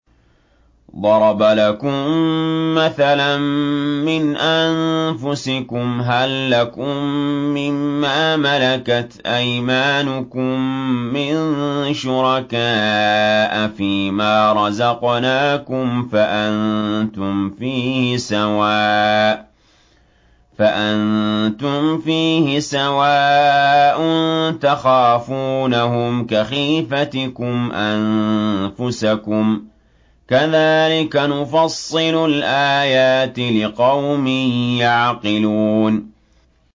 ضَرَبَ لَكُم مَّثَلًا مِّنْ أَنفُسِكُمْ ۖ هَل لَّكُم مِّن مَّا مَلَكَتْ أَيْمَانُكُم مِّن شُرَكَاءَ فِي مَا رَزَقْنَاكُمْ فَأَنتُمْ فِيهِ سَوَاءٌ تَخَافُونَهُمْ كَخِيفَتِكُمْ أَنفُسَكُمْ ۚ كَذَٰلِكَ نُفَصِّلُ الْآيَاتِ لِقَوْمٍ يَعْقِلُونَ